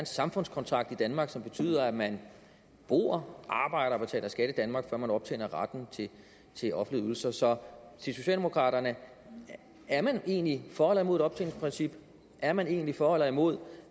samfundskontrakt i danmark som betyder at man bor arbejder og betaler skat i danmark før man optjener retten til offentlige ydelser så til socialdemokraterne er man egentlig for eller imod et optjeningsprincip er man egentlig for eller imod